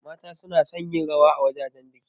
Mata suna son yin rawa a wajajen biki.